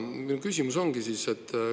Minu küsimus on see.